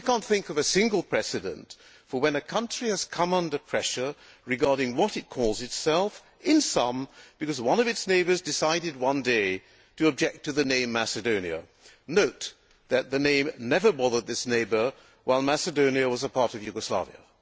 I cannot think of a single precedent for when a country has come under pressure regarding what it calls itself, in sum because one of its neighbours decided one day to object to the name Macedonia'. Note that the name never bothered this neighbour while Macedonia was a part of Yugoslavia.